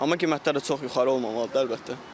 Amma qiymətlər də çox yuxarı olmamalıdır, əlbəttə.